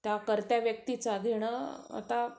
त्या कर्त्या व्यक्तीचं घेणं आता